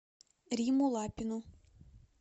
римму лапину